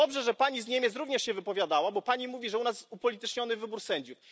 Dobrze, że Pani z Niemiec również się wypowiadała, bo Pani mówi, że u nas jest upolityczniony wybór sędziów.